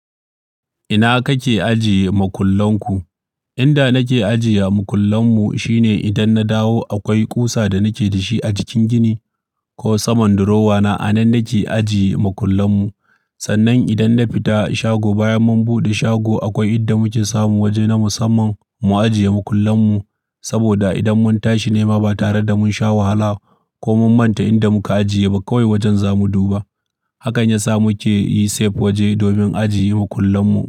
Ina kake ajiye makullan ku? Inda nake ajiye makullan mu shine idan na dawo akwai ƙusa da nake da shi a jikin gini ko saman durowa na a nan nake ajiye makullan mu. Sannan idan na fita shago bayan mun bude shago, akwai inda muke samu waje na musamman mu ajiye makullan mu. Saboda idan mun tashi nema ba tare da mun sha wahala ko mun manta inda muka ajiye ba kawai wajen zamu duba. Hakan ya sa muke yi safe waje domin ajiye makullan mu.